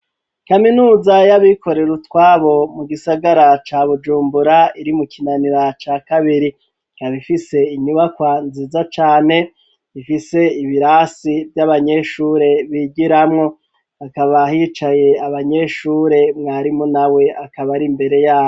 Kaminuza y'abikorero utwabo mu gisagara ca Bujumbura iri mu Kinanira ca kabiri ikaba ifise inyubakwa nziza cane ifise ibirasi vy'abanyeshure bigiramwo hakaba hicaye abanyeshure mwarimu nawe akaba ari imbere yabo.